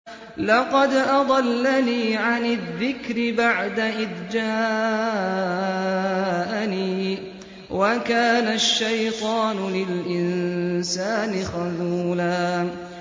لَّقَدْ أَضَلَّنِي عَنِ الذِّكْرِ بَعْدَ إِذْ جَاءَنِي ۗ وَكَانَ الشَّيْطَانُ لِلْإِنسَانِ خَذُولًا